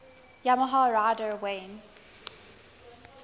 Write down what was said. yamaha rider wayne